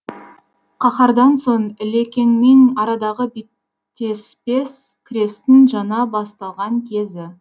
қаһардан соң ілекеңмен арадағы беттеспес күрестің жаңа басталған кезі